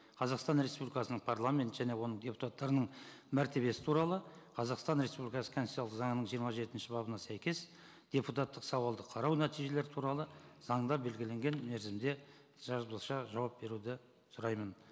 қазақстан республикасының парламент және оның депутаттарының мәртебесі туралы қазақстан республикасы конституциялық заңының жиырма жетінші бабына сәйкес депутаттық сауалды қарау нәтижелері туралы заңда белгіленген мерзімде жазбаша жауап беруді сұраймын